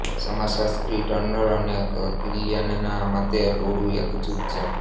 સમાજશાસ્ત્રી Turner અને કિલિયનના મતે ટોળું એક જૂથ છે